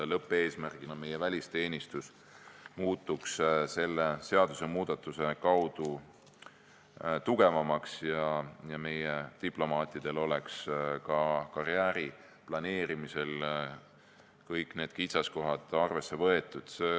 Lõppeesmärgid on, et meie välisteenistus muutuks selle seadusemuudatuse kaudu tugevamaks ja meie diplomaatide karjääri planeerimisel oleksid kõik kitsaskohad arvesse võetud.